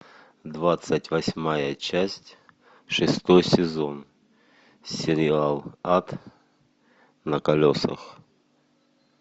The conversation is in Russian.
двадцать восьмая часть шестой сезон сериал ад на колесах